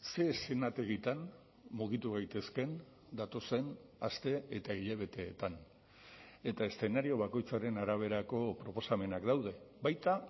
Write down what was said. ze eszenategitan mugitu gaitezkeen datozen aste eta hilabeteetan eta eszenario bakoitzaren araberako proposamenak daude baita